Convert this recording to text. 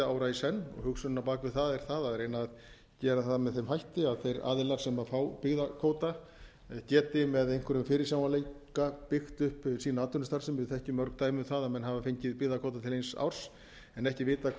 ára í senn hugsunin á bak við það er það að reyna að gera það með þeim hætti að þeir aðilar sem fá byggðakvóta geti með einhverjum fyrirsjáanleika byggt upp sína atvinnustarfsemi við þekkjum mörg dæmi um það að menn hafa fengið byggðakvóta til eins árs en ekki vitað hvað